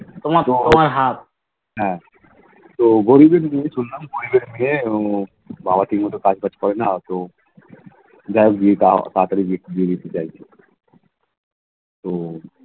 তোমার তোমার Half